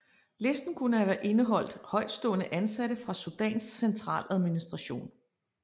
Listen kunne have indeholdt højtstående ansatte fra Sudans centraladministration